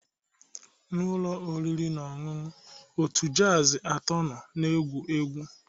N'ụlọ oriri na ọṅụṅụ, otu jazz atọ nọ na-egwu egwu.